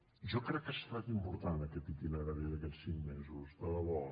jo crec que ha estat important aquest itinerari d’aquests cinc mesos de debò